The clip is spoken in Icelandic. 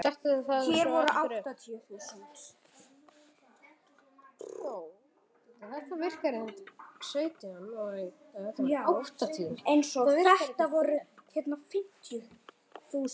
Setti það svo upp aftur.